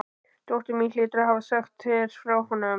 Dóttir mín hlýtur að hafa sagt þér frá honum.